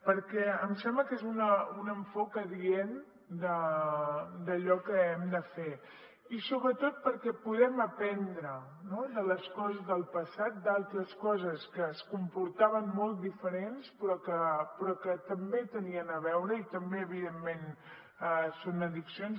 perquè em sembla que és un enfocament adient d’allò que hem de fer i sobretot perquè podem aprendre de les coses del passat d’altres coses que es comportaven molt diferentment però que també hi tenien a veure i també evidentment són addiccions